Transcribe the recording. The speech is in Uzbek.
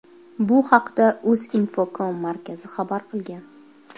Bu haqda Uzinfocom markazi xabar qilgan.